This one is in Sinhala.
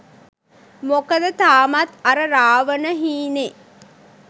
මොකද තාමත් අර රාවණ හීනේ